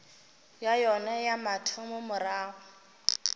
ya yona ya mathomo morago